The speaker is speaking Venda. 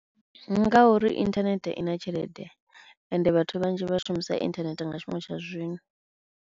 Ndi ngauri inthanethe i na tshelede ende vhathu vhanzhi vha shumisa internet nga tshifhinga tsha zwino.